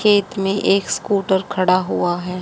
खेत में एक स्कूटर खड़ा हुआ है।